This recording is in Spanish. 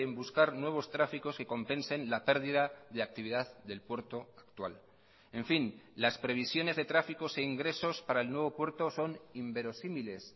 buscar nuevos tráficos que compensen la pérdida de actividad del puerto actual en fin las previsiones de tráficos e ingresos para el nuevo puerto son inverosímiles